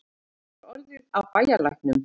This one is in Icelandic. Hvað var orðið af bæjarlæknum?